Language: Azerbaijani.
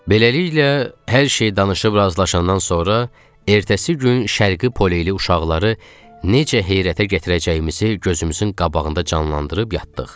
Beləliklə, hər şeyi danışıb razılaşandan sonra ertəsi gün şərqi poleli uşaqları necə heyrətə gətirəcəyimizi gözümüzün qabağında canlandırıb yatdıq.